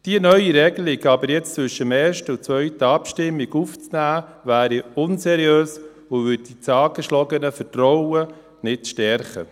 Die neue Regelung jetzt aber zwischen der ersten und zweiten Abstimmung aufzunehmen, wäre unseriös und würde das angeschlagene Vertrauen nicht stärken.